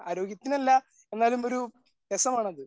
ആരോഗ്യത്തിന് അല്ല എന്നാലും ഒരു രസമാണത്.